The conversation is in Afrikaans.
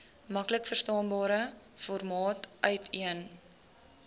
maklikverstaanbare formaat uiteen